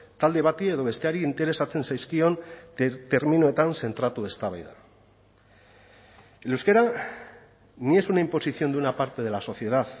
talde bati edo besteari interesatzen zaizkion terminoetan zentratu eztabaida el euskera ni es una imposición de una parte de la sociedad